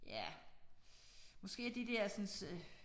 Ja måske er de dersens øh